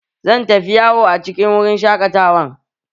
Zan tafi yawo a cikin wurin shaƙatawan